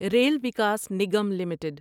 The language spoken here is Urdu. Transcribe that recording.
rail Vikas Nigam limited